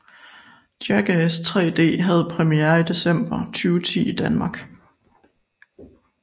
Jackass 3D havde premiere i december 2010 i Danmark